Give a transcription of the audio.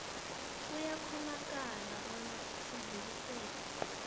kuyakghonakala bona sidluliselwe